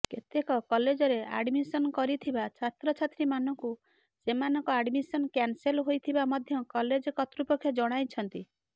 କେତେକ କଲେଜରେ ଆଡ଼ମିସନ କରିଥିବା ଛାତ୍ରଛାତ୍ରୀମାନଙ୍କୁ ସେମାନଙ୍କ ଆଡ଼ମିସନ କ୍ୟାନସେଲ ହୋଇଥିବା ମଧ୍ୟ କଲେଜ କର୍ତୃପକ୍ଷ ଜଣାଇଛନ୍ତି